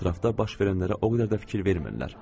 Ətrafda baş verənlərə o qədər də fikir vermirlər.